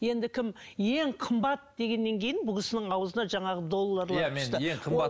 енді кім ең қымбат дегеннен кейін бұл кісінің аузына жаңағы долларлар түсті